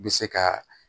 Bɛ se ka